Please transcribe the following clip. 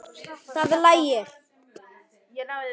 Það lægir.